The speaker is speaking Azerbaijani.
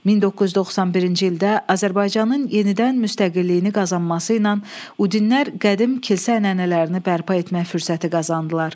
1991-ci ildə Azərbaycanın yenidən müstəqilliyini qazanması ilə udinlər qədim kilsə ənənələrini bərpa etmə fürsəti qazandılar.